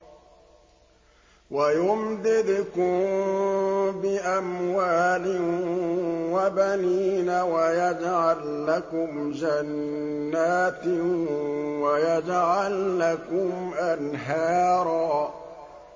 وَيُمْدِدْكُم بِأَمْوَالٍ وَبَنِينَ وَيَجْعَل لَّكُمْ جَنَّاتٍ وَيَجْعَل لَّكُمْ أَنْهَارًا